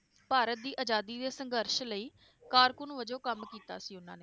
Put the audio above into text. ਭਾਰਤ ਦੀ ਅਜਾਦੀ ਦੇ ਸੰਘਰਸ਼ ਲਈ ਕਾਰਕੂਨ ਵਜੋਂ ਕੰਮ ਕੀਤਾ ਸੀ ਉਹਨਾਂ ਨੇ